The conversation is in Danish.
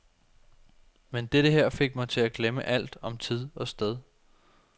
Men dette her fik mig til at glemme alt om tid og sted.